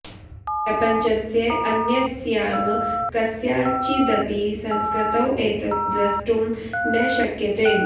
प्रपञ्चस्य अन्यस्यां कस्याञ्चिदपि संस्कृतौ एतत् दृष्टुं न शक्यते